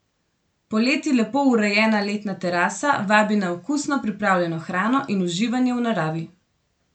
Poleti lepo urejena letna terasa vabi na okusno pripravljeno hrano in uživanje v naravi.